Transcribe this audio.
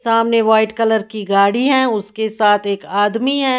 सामने white colour की गाड़ी है उसके साथ एक आदमी है।